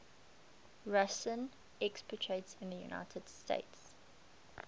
russian expatriates in the united states